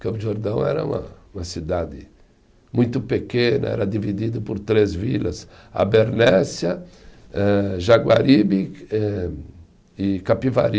Campos do Jordão era uma uma cidade muito pequena, era dividido por três vilas, Abernésia eh, Jaguaribe eh e Capivari.